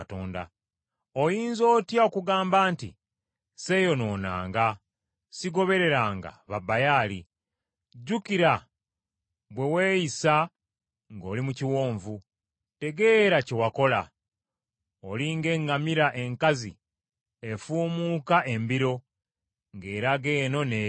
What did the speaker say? Oyinza otya okugamba nti, “Sseeyonoonanga, sigobereranga ba Baali?” Jjukira bwe weeyisa ng’oli mu kiwonvu; tegeera kye wakola. Oli ng’eŋŋamira enkazi efuumuuka embiro ngeraga eno n’eri,